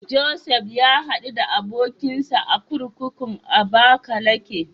Josef ya haɗu da abokinsa a kurkukun Abakalake.